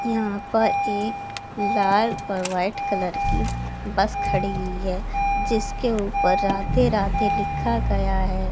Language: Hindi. यहां पर एक लाल और वाइट कलर की बस खड़ी हुई है जिसके ऊपर राधे राधे लिखा गया है।